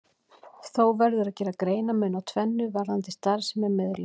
Þó verður að gera greinarmun á tvennu varðandi starfsemi miðla.